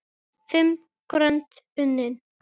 Fimm grönd unnin!